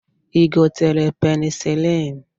I gotere penicilin?